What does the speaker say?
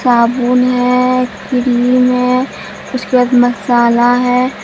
साबुन है क्रीम है उसके बाद मसाला है।